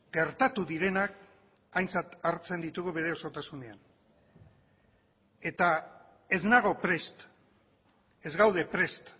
gertatu direnak aintzat hartzen ditugu bere osotasunean eta ez nago prest ez gaude prest